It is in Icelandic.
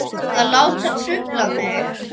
Að láta trufla mig.